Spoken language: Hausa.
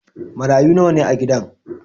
Marayu nawa ne a gidan?